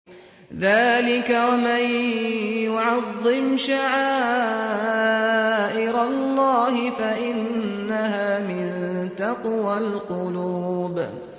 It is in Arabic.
ذَٰلِكَ وَمَن يُعَظِّمْ شَعَائِرَ اللَّهِ فَإِنَّهَا مِن تَقْوَى الْقُلُوبِ